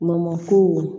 Mɔmɔ kow